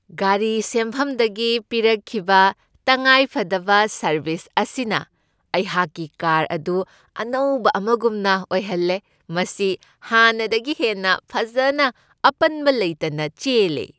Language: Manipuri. ꯒꯥꯔꯤ ꯁꯦꯝꯐꯝꯗꯒꯤ ꯄꯤꯔꯛꯈꯤꯕ ꯇꯪꯉꯥꯏꯐꯗꯕ ꯁꯔꯕꯤꯁ ꯑꯁꯤꯅ ꯑꯩꯍꯥꯛꯀꯤ ꯀꯥꯔ ꯑꯗꯨ ꯑꯅꯧꯕ ꯑꯃꯒꯨꯝꯅ ꯑꯣꯏꯍꯜꯂꯦ, ꯃꯁꯤ ꯍꯥꯟꯅꯗꯒꯤ ꯍꯦꯟꯅ ꯐꯖꯅ ꯑꯄꯟꯕ ꯂꯩꯇꯅ ꯆꯦꯜꯂꯦ !